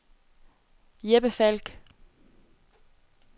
Jeppe Falk